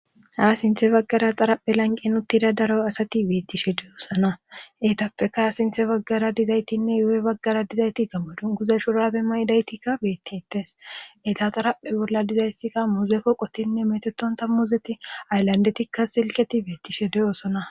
Ha sinthe baggara xaraphe lanqen uttida daro asati beettishe deyoosana eetappeka ha sinthe baggara dizaytinne yo7oy baggara dizayti gamo dunguza shurabe maydaytikka bettites eeta xaraphe bolla dizayssikka muzeeko qotinne metetonta muzeti ayllandetikka silketi beettishe deyosona.